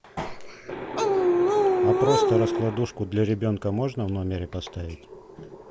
а просто раскладушку для ребенка можно в номере поставить